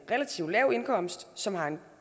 relativt lav indkomst som har en